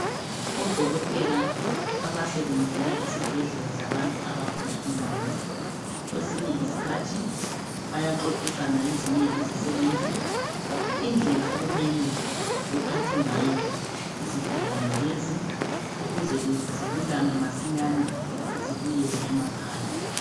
odokotela abasebenzela esibhedlela zabantu abagula inqondo kwesinye sikhathi bayaxoxisana lezinye izisebenzi indlela okumele bephathe ngayo izigulane lezi ukuze zilulame masinyane zibuyele emakhaya.